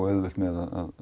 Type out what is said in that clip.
auðvelt með að